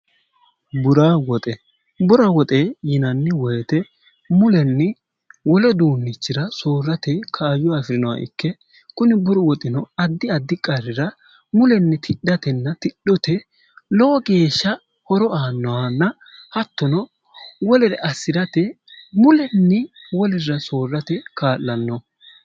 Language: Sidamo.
bura woxe bura woxe yinanni woyite mulenni wole duunnichira soorrate kaayo afi'rinoha ikke kuni buru woxino addi addi qarrira mulenni tidhatenna tidhote lowo geeshsha horo aannohanna hattono wolere assi'rate mulenni wolirra soorrate kaa'lanno